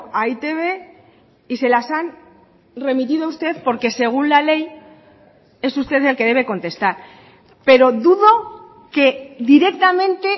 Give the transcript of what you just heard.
a e i te be y se las han remitido a usted porque según la ley es usted el que debe contestar pero dudo que directamente